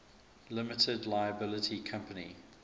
limited liability company